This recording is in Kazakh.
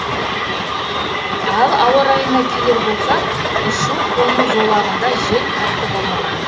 ал ауа райына келер болсақ ұшу қону жолағында жел қатты болмаған